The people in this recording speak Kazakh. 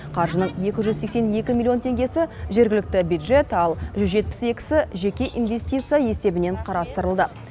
қаржының екі жүз сексен екі миллион теңгесі жергілікті бюджет ал жүз жетпіс екісі жеке инвестиция есебінен қарастырылды